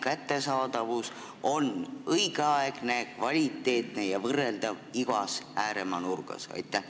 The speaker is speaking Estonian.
Kas selline abi on õigeaegselt kättesaadav, kvaliteetne ja üldse võrdne igas ääremaa nurgas?